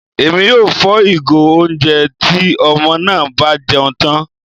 Èmí yóò fò igo oúnjẹ tí ọmọ náà bá jẹun tán